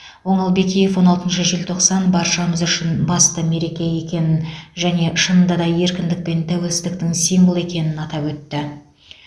оңал бекиев он алтыншы желтоқсан баршамыз үшін басты мереке екенін және шынында еркіндік пен тәуелсіздіктің символы екенін атап өтті